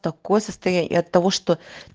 такое состояние от того что